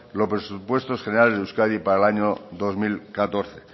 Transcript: los presupuestos generales de euskadi para el año dos mil catorce